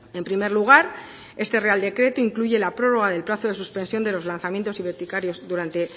en primer lugar este real decreto incluye la prórroga del plazo de suspensión de los lanzamientos y durante